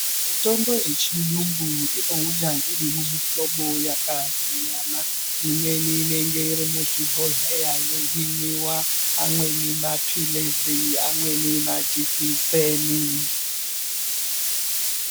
Mitombo yechiyungu inouya iri mumuhlobo yakasiyana. Imweni inenge iri muzvibhondleya yeimwiwa. Amweni mapilizi, amweni majikiseni.